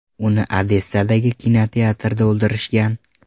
Uni Odessadagi kinoteatrda o‘ldirishgan.